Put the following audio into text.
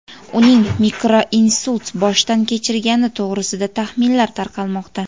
uning mikroinsult boshdan kechirgani to‘g‘risida taxminlar tarqalmoqda.